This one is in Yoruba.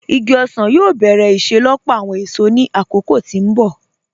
Igi ọsan yóò bẹ̀rẹ̀ iṣelọ́pọ̀ awọn èṣò ní akókò tí n bọ̀.